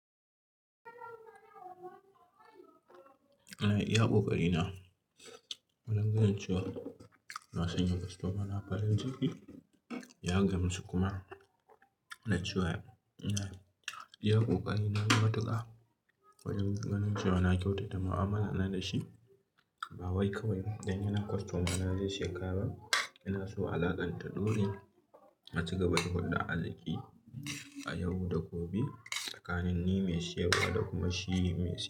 Ina iya ƙoƙari na, wajen ganin cewa na sanya kostomana farin ciki, ya gamsu kuma, na ce wa yana iyaƙo ƙari na yi matuƙa. Wajen ganin cewa na kyautata mu'amala na da shi, ba wai kawai dan yana kostomana zai shiga ba. Ina so alaƙar ta ɗore, a ci gaba da hulɗa alhaki a yau da gobe tsakanin ni mai siyarwa da kuma shi mai siya.